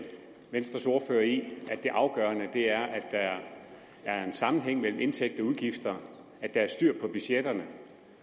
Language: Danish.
venstres ordfører i at det afgørende er at der er er en sammenhæng mellem indtægter og udgifter at der er styr på budgetterne